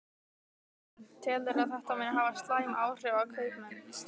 Karen: Telurðu að þetta muni hafa slæm áhrif á kaupmenn?